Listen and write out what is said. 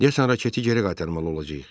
Deyəsən raketi geri qaytarmalı olacağıq.